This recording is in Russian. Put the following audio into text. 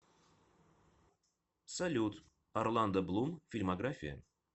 салют орландо блум фильмография